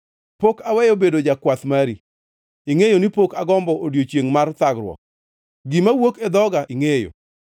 Pok aweyo bedo jakwath mari; ingʼeyo ni pok agombo odiechiengʼ mar thagruok. Gima wuok e dhoga ingʼeyo.